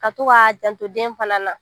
Ka to k'o k'a janto den fana na